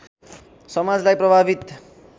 समाजलाई प्रभावित